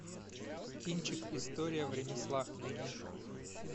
кинчик история в ремеслах найди